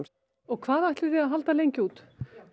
og hvað ætlið þið að halda lengi út